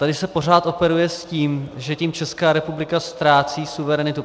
Tady se pořád operuje s tím, že tím Česká republika ztrácí suverenitu.